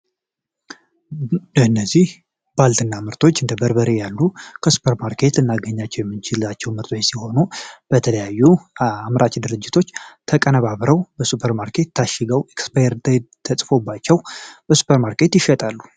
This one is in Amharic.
እነዚህ ባልትና ምርቶች እንደ በርበሬ ያሉ ከሱፐር ማርኬቶች የምናገኛቸው ሲሆኑ በተለያዩ አምራች ድርጅቶች ተቀነባብረው በሱፐር ማርኬት ታሽገው ኤክስፓየርትተ ተፅፎባቸው በሱፐር ማርኬት ይገኛሉ።